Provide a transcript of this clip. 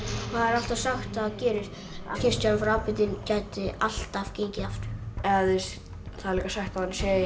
alltaf sagt að skipstjórinn frá Aberdeen gæti alltaf gengið aftur það er líka sagt að hann sé